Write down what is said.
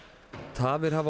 tafir hafa